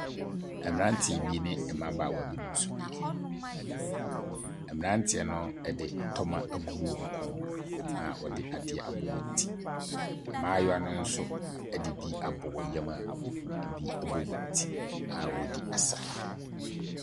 Mmeranteɛ bi ne mmabaawa binom nso nie. Mmerateɛ no de ntɔma agugu wɔn kɔn mu a wɔde adeɛ abɔ wɔn ti. Mmayewa no no de bi abɔ wɔn yam a ɛbi bɔ wɔn ti a wɔredi asa.